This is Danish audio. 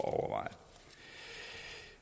at overveje